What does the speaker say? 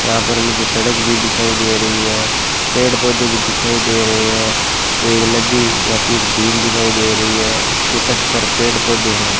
यहां पर मुझे सड़क भी दिखाई दे रही है पेड़ पौधे भी दिखाई दे रहे हैं एक नदी या फिर झील दिखाई दे रही है इसके तट पर पेड़ पौधे हैं।